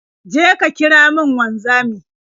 Je ka kira min wanzami.